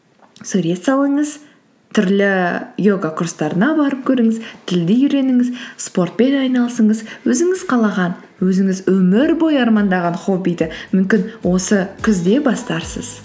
сурет салыңыз түрлі йога курстарына барып көріңіз тілді үйреніңіз спортпен айналысыңыз өзіңіз қалаған өзіңіз өмір бойы армандаған хоббиді мүмкін осы күзде бастарсыз